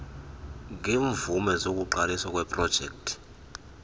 ngeemvume zokuqaliswa kweeprojekti